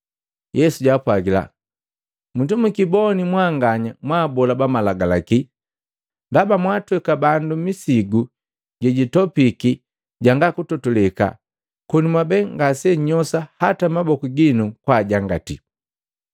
Yesu jaapwagila, “Musimukiboni na mwanganya mwabola bamalagalaki! Ndaba mwatweka bandu misigu jejitopiki janga kutotoleka, koni mwabee ngasennyosa hata maboku gino kwajangati.